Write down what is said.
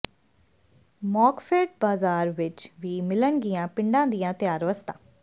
ਮਾਰਕਫੈੱਡ ਬਾਜਾਰ ਵਿੱਚ ਵੀ ਮਿਲਣਗੀਆਂ ਪਿੰਡਾਂ ਦੀਆਂ ਤਿਆਰ ਵਸਤਾਂ